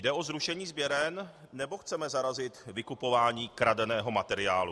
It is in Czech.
Jde o zrušení sběren, nebo chceme zarazit vykupování kradeného materiálu?